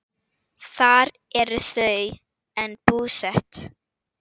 Þar eru þau enn búsett.